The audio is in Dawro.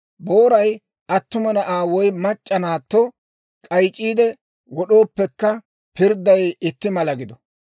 Booray attuma na'aa woy mac'c'a naatto k'ayc'c'iide wod'ooppekka, pirdday itti mala gido.